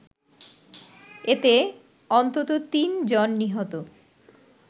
এতে অন্তত তিন জন নিহত